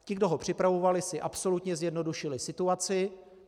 Ti, kdo ho připravovali, si absolutně zjednodušili situaci.